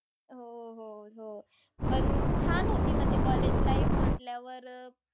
हो, हो, हो. पण छान होती म्हणजे college life म्हटल्यावर